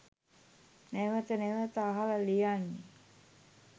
නැවත නැවත අහල ලියන්නෙ.